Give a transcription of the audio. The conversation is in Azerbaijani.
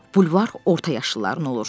Bulvar orta yaşlıların olur.